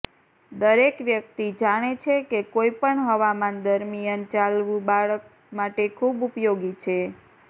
દરેક વ્યક્તિ જાણે છે કે કોઈ પણ હવામાન દરમિયાન ચાલવું બાળક માટે ખૂબ ઉપયોગી છે